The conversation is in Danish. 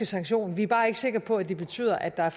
sanktionen vi er bare ikke sikre på at det betyder at der